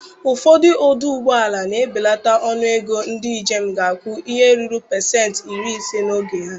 Ụfọdụ ọdụ ụgbọala na-ebelata ọnụ ego ndị njem ga-akwụ ihe ruru pasenti iri ise n'oge a.